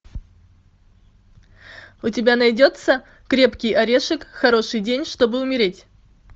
у тебя найдется крепкий орешек хороший день чтобы умереть